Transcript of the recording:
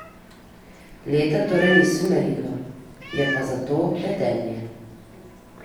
Leta torej niso merilo, je pa zato vedenje.